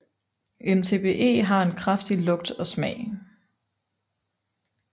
MTBE har en kraftig lugt og smag